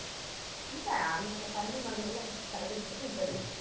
இல்லை அந்த கண்ணு மண்ணெல்லாம் எனக்கு தேவையில்லை நீ பதில் சொல்லு